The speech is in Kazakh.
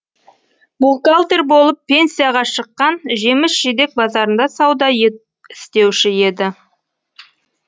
бухгалтер болып пенсияға шыққан жеміс жидек базарында сауда істеуші еді